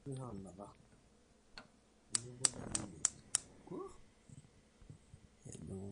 tipika aitoip ndaiki peyie eizuia enkitobirata enkulupuoni tenkata e El nino